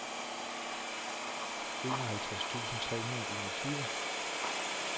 enoghalvtreds tusind tre hundrede og enogtyve